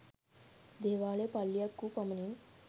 දේවාලය පල්ලියක් වූ පමණින්